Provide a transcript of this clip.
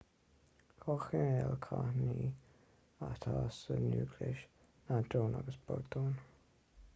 dhá chineál cáithníní atá sa núicléas neodróin agus prótóin